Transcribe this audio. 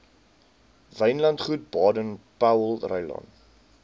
wynlandgoed baden powellrylaan